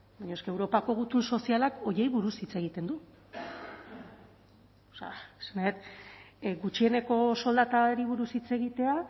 baina eske europako gutun sozialak horiei buruz hitz egiten du esan nahi dut gutxieneko soldatari buruz hitz egitea